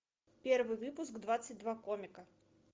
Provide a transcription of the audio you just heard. первый выпуск двадцать два комика